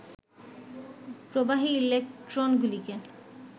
প্রবাহী ইলেক্ট্রনগুলিকে